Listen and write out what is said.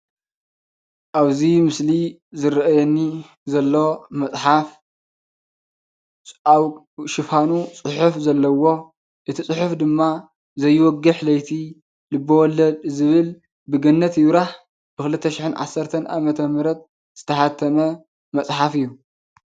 ኣብዚ ምስሊ ዝረኣየኒ ዘሎ መፅሓፍ ኣብ ሽፋኑ ጽሑፍ ዘለዎ እቲ ጽሑፍ ድማ ዘይወግሕ ለይቲ ልበ-ወለድ ዝብል ብገነት ይብራህ ብ 2010 ዓ.ም ዝተሓተመ መፅሓፍ እዩ::